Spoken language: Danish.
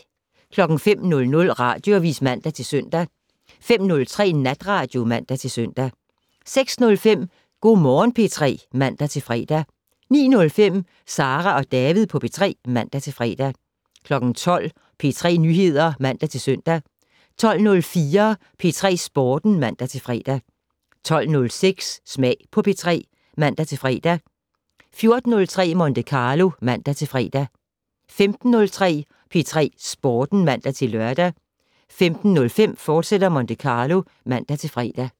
05:00: Radioavis (man-søn) 05:03: Natradio (man-søn) 06:05: Go' Morgen P3 (man-fre) 09:05: Sara og David på P3 (man-fre) 12:00: P3 Nyheder (man-søn) 12:04: P3 Sporten (man-fre) 12:06: Smag på P3 (man-fre) 14:03: Monte Carlo (man-fre) 15:03: P3 Sporten (man-lør) 15:05: Monte Carlo, fortsat (man-fre)